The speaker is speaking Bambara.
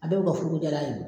A bɛ u ka furuko jaar'a ye.